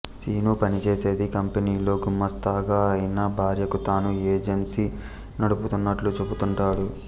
శీను పనిచేసేది కంపెనీలో గుమాస్తాగా అయినా భార్యకు తాను ఏజెంసీ నడుపుతున్నట్లు చెబుతుంటాడు